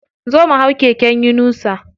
Zo mu hau keken yunusa.